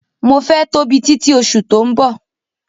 Mo fẹ́ tóbi títi oṣù tó ń bọ̀.